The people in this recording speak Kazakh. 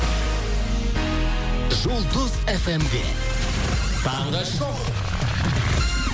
жұлдыз эф эм де таңғы шоу